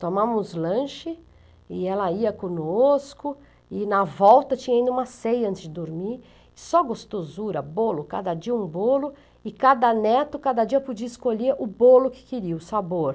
Tomámos lanche e ela ia conosco, e na volta tinha ainda uma ceia antes de dormir, só gostosura, bolo, cada dia um bolo, e cada neto, cada dia podia escolher o bolo que queria, o sabor.